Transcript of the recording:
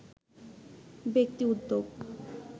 ব্যক্তি উদ্যোগ